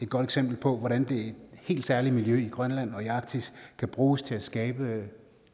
godt eksempel på hvordan det helt særlige miljø i grønland og i arktis kan bruges til at skabe